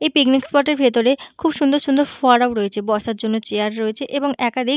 এ picnic spot এর ভেতরে খুব সুন্দর সুন্দর ফোয়ারাও রয়েছে। বসার জন্য চেয়ার রয়েছে এবং একাধিক --